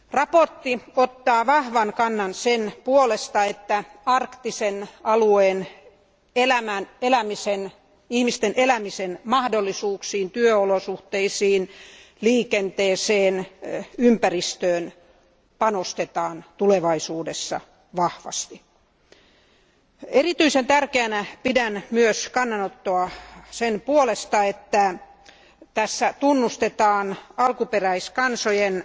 Mietintö ottaa vahvan kannan sen puolesta, että arktisen alueen ihmisten elämismahdollisuuksiin, työolosuhteisiin, liikenteeseen ja ympäristöön panostetaan tulevaisuudessa vahvasti. Erityisen tärkeänä pidän myös kannanottoa sen puolesta, että tunnustetaan alkuperäiskansojen,